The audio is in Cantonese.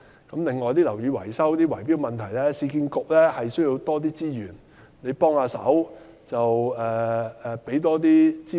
此外，就樓宇維修等圍標問題，市區重建局需要多些資源，盼望黃局長能多給予支援。